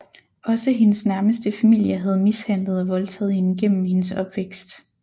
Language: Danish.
Også hendes nærmeste familie havde mishandlet og voldtaget hende gennem hendes opvækst